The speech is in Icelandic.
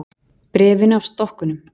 Bréfinu af stokkunum.